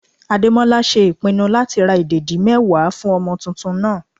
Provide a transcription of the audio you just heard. Ademola ṣe ìpinnu láti ra ìdẹ̀dí mẹ́wàá fún ọmọ tuntun náà.